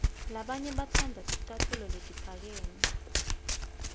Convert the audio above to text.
labanye batsandza ticatfulo letiphakeme